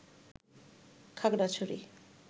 Khagrachari